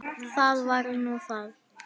Það var nú það.